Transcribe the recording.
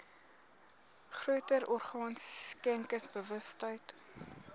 groter orgaan skenkersbewustheid